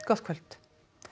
gott kvöld